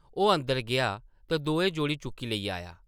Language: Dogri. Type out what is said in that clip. ओह् अंदर गेआ ते दोऐ जोड़े चुक्की लेई आया ।